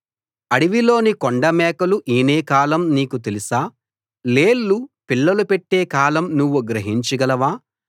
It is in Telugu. అడవిలోని కొండమేకలు ఈనే కాలం నీకు తెలుసా లేళ్లు పిల్లలు పెట్టే కాలం నువ్వు గ్రహించగలవా